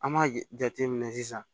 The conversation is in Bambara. An b'a jateminɛ sisan